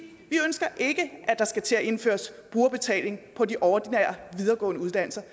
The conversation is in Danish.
ønsker ikke at der skal til at indføres brugerbetaling på de ordinære videregående uddannelser